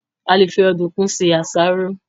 A lè fi Ọ̀dùnkún se àsáró